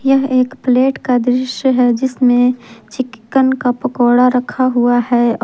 एक प्लेट का दृश्य है जिसमें चिकन का पकोड़ा रखा हुआ है।